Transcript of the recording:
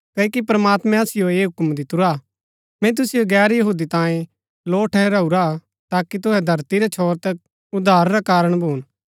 क्ओकि प्रमात्मैं असिओ ऐह हूक्म दितुरा मैंई तुसिओ गैर यहूदी तांयें लौ ठहराऊरा हा ताकि तुहै धरती रै छोर तक उद्धार रा कारण भून